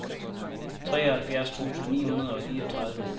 treoghalvfjerds tusind ni hundrede og fireogtredive